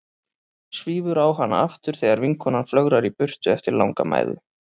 Svífur á hana aftur þegar vinkonan flögrar í burtu eftir langa mæðu.